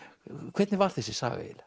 hvernig var þessi saga eiginlega